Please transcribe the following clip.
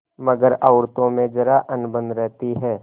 मगर औरतों में जरा अनबन रहती है